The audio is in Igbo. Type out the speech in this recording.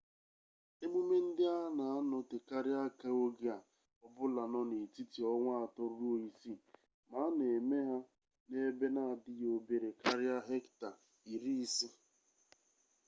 emume ndị a na-anọtekarị aka oge ọ bụla nọ n'etiti ọnwa atọ ruo isii ma a na-eme ha n'ebe na-adịghị obere karịa hekta 50